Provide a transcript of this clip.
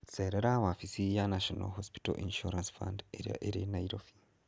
Cerera wabici ya National Hospital Insurance Fund ĩrĩa ĩrĩ Nairobi.